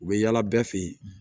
U bɛ yaala bɛɛ fɛ yen